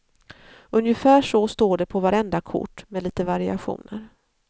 Ungefär så står det på vartenda kort, med litet variationer.